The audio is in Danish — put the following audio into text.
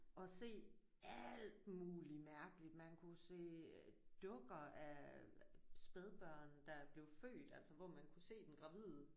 Og se alt muligt mærkeligt man kunne se dukker af spædbørn der blev født altså hvor man kunne se den gravide